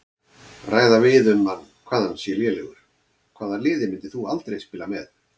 Ræða við um hann hvað hann sé lélegur Hvaða liði myndir þú aldrei spila með?